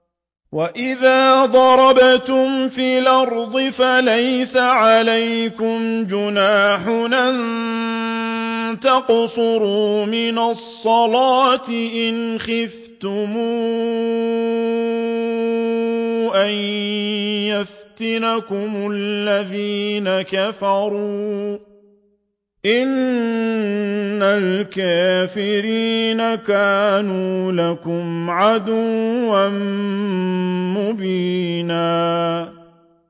وَإِذَا ضَرَبْتُمْ فِي الْأَرْضِ فَلَيْسَ عَلَيْكُمْ جُنَاحٌ أَن تَقْصُرُوا مِنَ الصَّلَاةِ إِنْ خِفْتُمْ أَن يَفْتِنَكُمُ الَّذِينَ كَفَرُوا ۚ إِنَّ الْكَافِرِينَ كَانُوا لَكُمْ عَدُوًّا مُّبِينًا